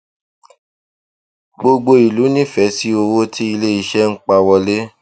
gbogbo ìlú nífẹẹ sí owó tí iléiṣẹ ń pa wọlé